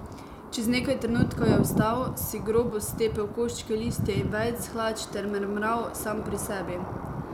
Čez nekaj trenutkov je vstal, si grobo stepel koščke listja in vejic s hlač ter mrmral sam pri sebi.